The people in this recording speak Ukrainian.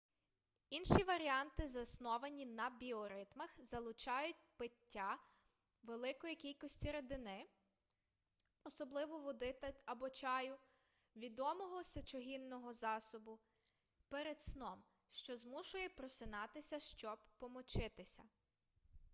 інші варіанти засновані на біоритмах залучають пиття великої кількості рідини особливо води або чаю відомого сечогінного засобу перед сном що змушує просинатися щоб помочитися